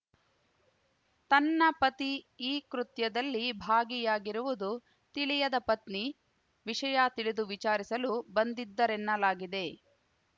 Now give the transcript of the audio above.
ತನ್ನ ಪತಿ ಈ ಕೃತ್ಯದಲ್ಲಿ ಭಾಗಿಯಾಗಿರುವುದು ತಿಳಿಯದ ಪತ್ನಿ ವಿಷಯ ತಿಳಿದು ವಿಚಾರಿಸಲು ಬಂದಿದ್ದರೆನ್ನಲಾಗಿದೆ